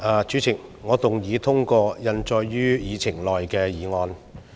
主席，我動議通過印載於議程內的議案。